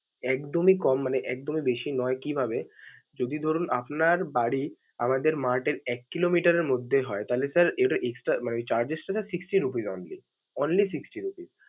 একদমই কম মানে একদমই বেশ নয়, কিভাবে? যদি ধরুন আপনার বাড়ি আমাদের mart এর এক কিলোমিটারের মধ্যে তাহলে sir এটা extra মানে charges টা sir sixty rupees only, only sisxty rupees ।